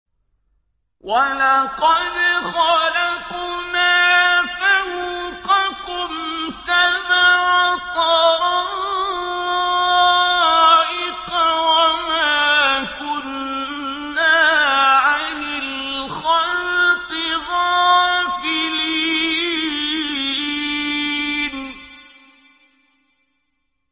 وَلَقَدْ خَلَقْنَا فَوْقَكُمْ سَبْعَ طَرَائِقَ وَمَا كُنَّا عَنِ الْخَلْقِ غَافِلِينَ